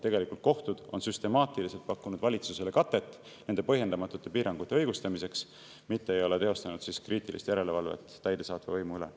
Tegelikult on kohtud süstemaatiliselt pakkunud valitsusele katet ja õigustanud nende põhjendamatuid piiranguid, mitte ei ole teostanud kriitilist järelevalvet täidesaatva võimu üle.